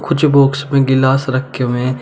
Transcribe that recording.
कुछ बॉक्स में गिलास रखे हुए हैं।